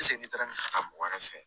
ne taara nin ta mɔgɔ wɛrɛ fɛ